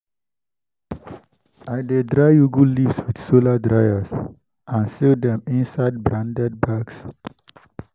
i dey dry ugu leaves with solar dryers and seal dem inside branded bags.